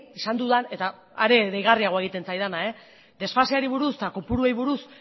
esan dudan eta are deigarriagoa egiten zaidana desfaseari buruz eta kopuruei buruz